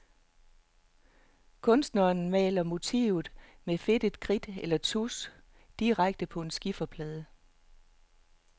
Kunstneren maler motivet med fedtet kridt eller tusch direkte på en skiferplade.